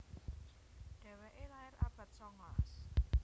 Dhéwéké lair abad songolas